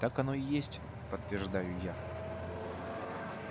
так оно и есть подтверждаю я